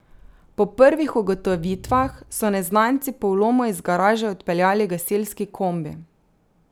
Po prvih ugotovitvah so neznanci po vlomu iz garaže odpeljali gasilski kombi.